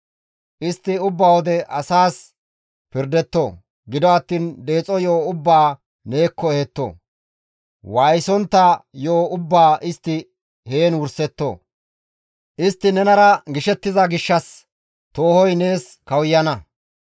Istti ubba wode asaas pirdetto; gido attiin deexo yo7o ubbaa neekko ehetto; waayisontta yo7o ubbaa istti heen wursetto. Istti nenara gishettiza gishshas toohoy nees kawuyana.